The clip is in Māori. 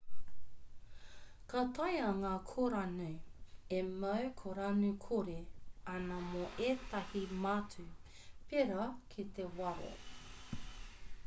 ka taea ngā kōranu e mau kōranu-kore ana mō ētahi mātū pērā ki te waro